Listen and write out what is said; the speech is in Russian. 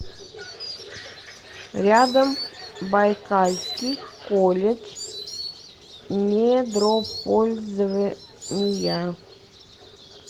рядом байкальский колледж недропользования